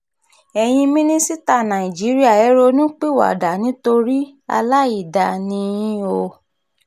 ẹ̀yin mínísítà nàìjíríà ẹ̀ ronú pìwàdà nítorí aláìdáa ni yín o